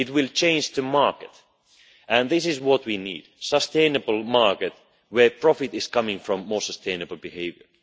It will change the market, and this is what we need a sustainable market where profit is coming from more sustainable behaviour.